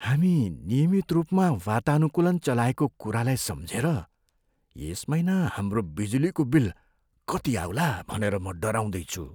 हामी नियमित रूपमा वातानुकूलन चलाएको कुरालाई सम्झेर यस महिना हाम्रो बिजुलीको बिल कति आउला भनेर म डराउँदै छु।